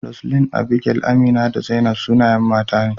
Roseline, Abigail, Amina, da Zainab sunayen mata ne.